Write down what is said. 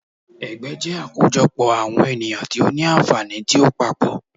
Ẹgbẹ́ jẹ́ àkójọ pọ̀ àwọn ènìyàn tí ó ní ànfàní tí ó papọ̀.